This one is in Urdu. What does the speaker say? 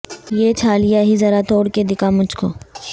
یہ چھالیا ہی ذرا توڑ کے دکھا مجھ کو